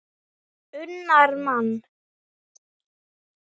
unnar mann.